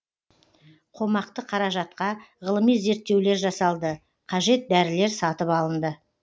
қомақты қаражатқа ғылыми зерттеулер жасалды қажет дәрілер сатып алынды